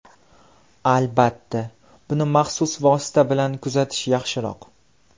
Albatta, buni maxsus vosita bilan kuzatish yaxshiroq.